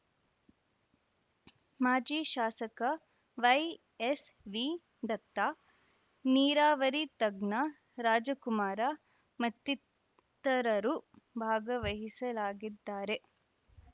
ಮಾಜಿ ಶಾಸಕ ವೈಎಸ್‌ವಿ ದತ್ತ ನೀರಾವರಿ ತಜ್ಞ ರಾಜಕುಮಾರ ಮತ್ತಿತರರು ಭಾಗವಹಿಸಲಾಗಿದ್ದಾರೆ